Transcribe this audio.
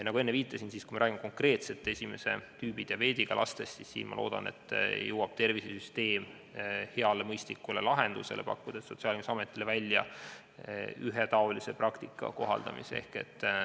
Ma enne viitasin, et kui räägime konkreetselt esimest tüüpi diabeediga lastest, siis ma loodan, et tervisesüsteem leiab hea ja mõistliku lahenduse, pakkudes Sotsiaalkindlustusametile välja ühetaolise praktika kohaldamise.